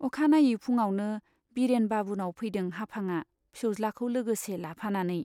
अखानायै फुङावनो बिरेन बाबुनाव फैदों हाफांआ फिसौज्लाखौ लोगोसे लाफानानै।